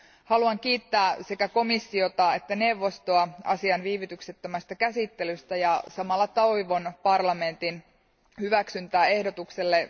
Haluan kiittää sekä komissiota että neuvostoa asian viivytyksettömästä käsittelystä, ja samalla toivon parlamentin hyväksyntää ehdotukselle.